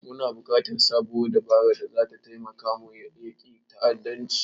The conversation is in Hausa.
Muna buƙatar sabuwar dabara da zata taimaka mu yaƙi ta'addanci.